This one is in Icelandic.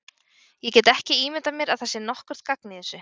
Ég get ekki ímyndað mér að það sé nokkurt gagn í þessu.